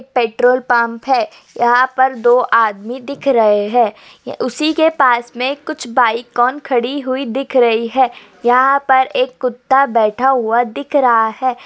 Petrol pump है। यहाँ पर दो आदमी दिख रहे है उसी के पास मे कुछ बाइक ऑन खड़ी हुई दिख रही है। यहाँ पर एक कुत्ता बैठा हुआ दिख रहा है।